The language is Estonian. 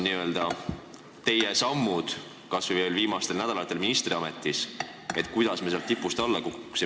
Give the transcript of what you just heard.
Mis samme te olete kas või viimastel nädalatel ministriametis astunud, et me sealt tipust alla kukuksime?